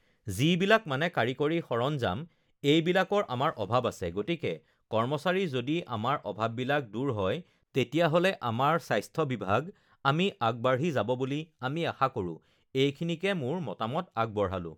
যিবিলাক মানে কাৰিকৰী সাৰঞ্জাম এইবিলাকৰ আমাৰ অভাৱ আছে গতিকে কৰ্মচাৰী যদি আমাৰ অভাৱবিলাক দূৰ হয় তেতিয়াহ'লে আমাৰ স্বাস্থ্যবিভাগ আমি আগবাঢ়ি যাব বুলি আমি আশা কৰোঁ এইখিনিকে মোৰ মতামত আগবঢ়ালোঁ